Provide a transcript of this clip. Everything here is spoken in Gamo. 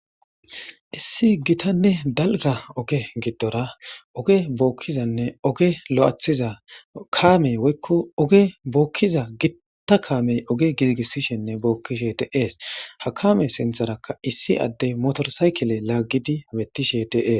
Issi gitanne dalga oge giddora oge bookkizanne oge lo7athiza kaamey woykko oge bookkiza gitta kaamey oge gizigissishenne bookkishe deees ha kame sintharakka issi addey motorsaykile laaggidi mettishe deees